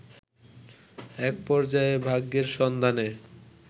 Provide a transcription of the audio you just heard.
এক পর্যায়ে ভাগ্যের সন্ধানে